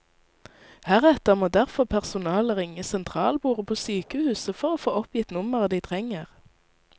Heretter må derfor personalet ringe sentralbordet på sykehuset for å få oppgitt nummeret de trenger.